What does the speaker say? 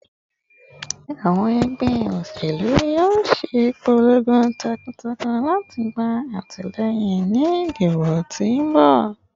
Awọn ẹgbẹ oselu yoo ṣe ipolongo takuntakun lati gba atilẹyin ni idibo ti n bọ